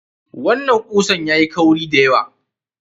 Wannan katakon yayi kauri da yawa wa kusan.